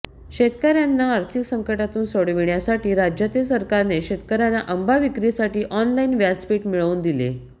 शेतकऱ्यांना आर्थिक संकटातून सोडविण्यासाठी राज्यातील सरकारने शेतकऱ्यांना आंबा विक्रीसाठी ऑनलाईन व्यासपीठ मिळवून दिले